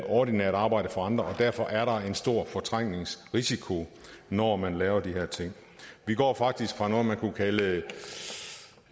ordinært arbejde for andre og derfor er der en stor fortrængningsrisiko når man laver de her ting vi går faktisk fra noget man kunne kalde